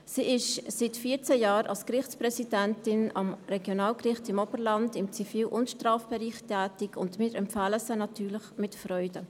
Sie ist seit vierzehn Jahren als Gerichtspräsidentin am Regionalgericht Oberland, im Zivil- und Strafbereich, tätig, und wir empfehlen sie natürlich mit Freude.